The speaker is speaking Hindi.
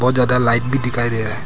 बहोत ज्यादा लाइट भी दिखाई दे रहा है।